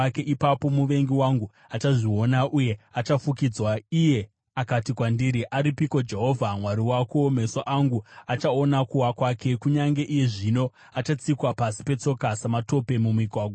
Ipapo muvengi wangu achazviona uye achafukidzwa, iye akati kwandiri, “Aripiko Jehovha Mwari wako?” Meso angu achaona kuwa kwake; kunyange iye zvino achatsikwa pasi petsoka sematope mumigwagwa.